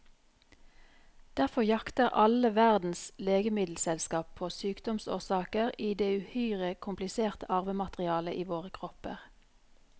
Derfor jakter alle verdens legemiddelselskap på sykdomsårsaker i det uhyre kompliserte arvematerialet i våre kropper.